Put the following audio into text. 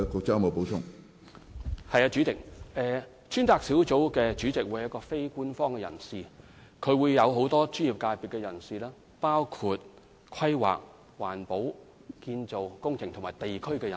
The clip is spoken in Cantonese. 主席，專責小組主席會由非官方人士出任，其組成亦會包括很多專業界別人士的參與，包括規劃、環保、建造、工程及地區人士。